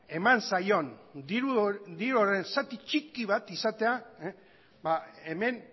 eman zaion diru horren zati txiki bat izatea hemen